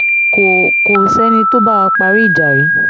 kò kò sẹ́ni tó bá wá parí ìjà rí